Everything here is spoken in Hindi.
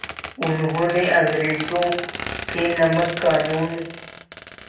उन्होंने अंग्रेज़ों के नमक क़ानून